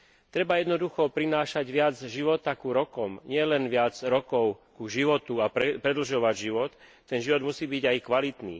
Treba jednoducho prinášať viac života k rokom, nielen viac rokov k životu a predlžovať život, ten život musí byť aj kvalitný.